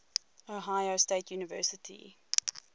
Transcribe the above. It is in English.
ohio state university